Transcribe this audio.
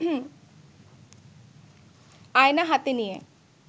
আয়না হাতে নিয়ে